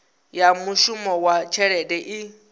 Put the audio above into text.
ya mishumo na tshelede i